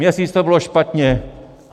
Měsíc to bylo špatně.